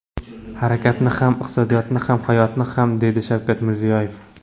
Harakatni ham, iqtisodiyotni ham, hayotni ham”, dedi Shavkat Mirziyoyev.